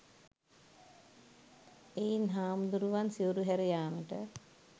එයින් හාමුදුරුවරුන් සිවුරු හැර යාමට